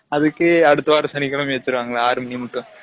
அதுக்கு அடுத்த வார சனிகிலமையும் வசுருவாங்கலா ஆரு மனிமுட்டும்